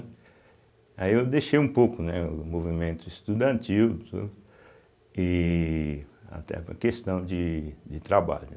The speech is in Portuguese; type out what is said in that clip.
Aí eu deixei um pouco, né, o movimento estudantil e até por questão de de trabalho, né.